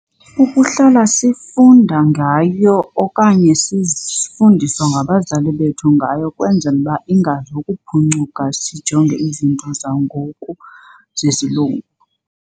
Ukuhlala sifunda ngayo okanye sifundiswa ngabazali bethu ngayo kwenzela uba ingazokuphuncuka sijonge izinto zangoku zesilungu.